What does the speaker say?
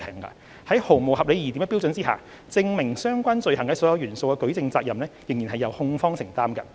在毫無合理疑點的標準下，證明相關罪行的所有元素的舉證責任仍由控方承擔。